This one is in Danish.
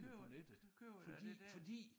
Køber køber det der